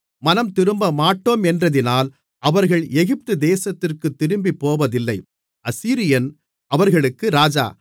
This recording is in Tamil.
மனந்திரும்பமாட்டோமென்றதினால் அவர்கள் எகிப்து தேசத்திற்குத் திரும்பிப்போவதில்லை அசீரியன் அவர்களுக்கு ராஜா